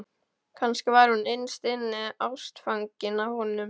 Kannski var hún innst inni ástfangin af honum.